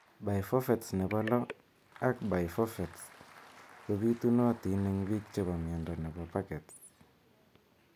Biphophatesnepo lo ak biphosphonates ko pitunotin eng' �biik chepo miondo nepo pagets.